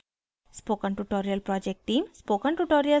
spoken tutorial project team